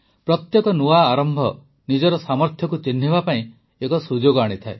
ପ୍ରତ୍ୟେକ ନୂଆ ଆରମ୍ଭ ନିଜର ସାମର୍ଥ୍ୟକୁ ଚିହ୍ନିବା ପାଇଁ ଏକ ସୁଯୋଗ ଆଣିଥାଏ